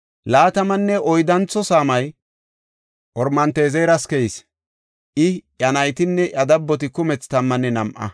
Laatamanne oyddantho saamay Oromanti7ezeras keyis; I, iya naytinne iya dabboti kumethi tammanne nam7a.